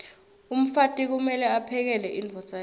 umfati kumeke aphekele imdvodza yakhe